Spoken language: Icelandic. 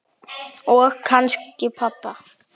Og kannski pabba.